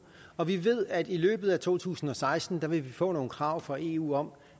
og vi ved at i løbet af to tusind og seksten vil vi få nogle krav fra eu om